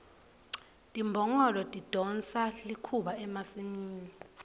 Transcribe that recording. timbongolo tidonsa likhuba emasimini